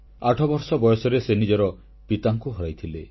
8 ବର୍ଷ ବୟସରେ ସେ ନିଜର ପିତାଙ୍କୁ ହରାଇଥିଲେ